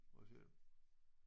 Må jeg se